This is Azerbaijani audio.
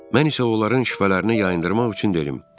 Mən isə onların şübhələrini yayındırmaq üçün dedim: